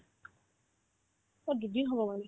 অ', দুদিন হ'ব মানে